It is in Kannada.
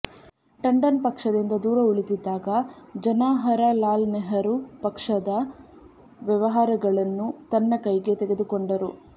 ಟಂಡನ್ ಪಕ್ಷದಿಂದ ದೂರ ಉಳಿದಿದ್ದಾಗ ಜನಾಹರಲಾಲ್ನೆಹರು ಪಕ್ಷದ ವ್ಯವಹಾರಗಳನ್ನು ತನ್ನ ಕೈಗೆ ತೆಗೆದುಕೊಂಡರು